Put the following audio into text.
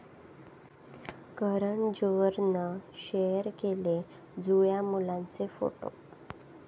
करण जोहरनं शेअर केले जुळ्या मुलांचे फोटो